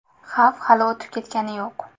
Xavf hali o‘tib ketgani yo‘q.